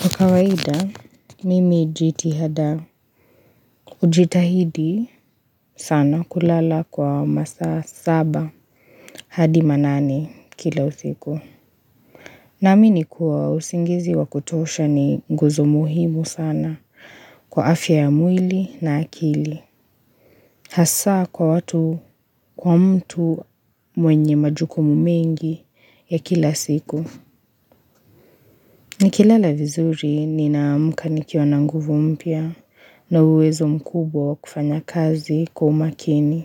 Kwa kawaida, mimi jitihada. Ujitahidi sana kulala kwa masaa saba hadi manane kila usiku. Naamini kuwa usingizi wa kutosha ni nguzo muhimu sana kwa afya ya mwili na akili. Hasaa kwa mtu mwenye majukumu mengi ya kila siku. Nikilala vizuri ninaamuka nikiwa na nguvu mpya na uwezo mkubwa wa kufanya kazi kwa umakini.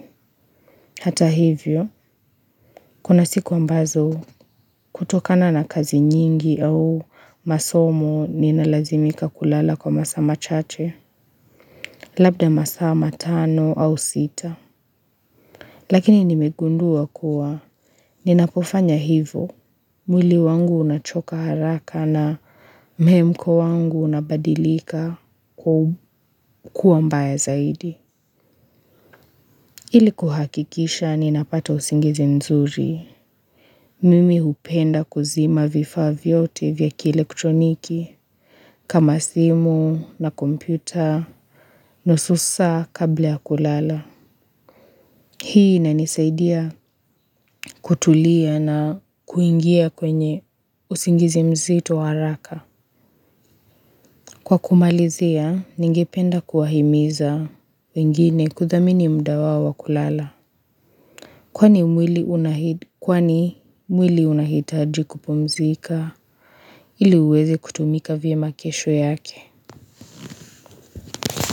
Hata hivyo, kuna siku ambazo kutokana na kazi nyingi au masomo ninalazimika kulala kwa masaa machache, labda masaa matano au sita. Lakini nimegundua kuwa, ninapofanya hivo, mwili wangu unachoka haraka na mhemko wangu unabadilika kuwa mbaya zaidi. Hili kuhakikisha ninapata usingizi nzuri, mimi upenda kuzima vifaa vyote vya kielektroniki, kama simu na kompyuta, nusu saa kabla ya kulala. Hii inanisaidia kutulia na kuingia kwenye usingizi mzito wa haraka. Kwa kumalizia, ningipenda kuwahimiza wengine kuthamini mda wao wa kulala. Kwani mwili unahitaji kupumzika ili uwezi kutumika vyema kesho yake.